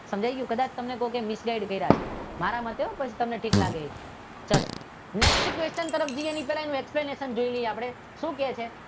કદાચ કોઈએ તમને મિસ ગાઈડ કર્યા છે મારા માટે પછી કહેતા નહી. ચાલો નેક્સ્ટ ક્વેચન તરફ જઈએ એકપ્લેનેશનલ જોઈ લઈએ શું કહે છે જુનાગઢ